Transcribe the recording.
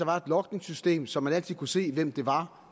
var et logningssystem så man altid kunne se hvem det var